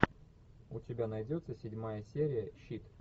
у тебя найдется седьмая серия щит